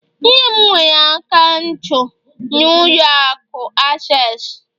nne m nwere akaụntụ na ụlọ akụ Accessi